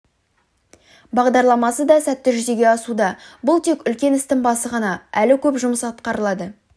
бағдарламасы да сәтті жүзеге асуда бұл тек үлкен істің басы ғана әлі көп жұмыс атқарылады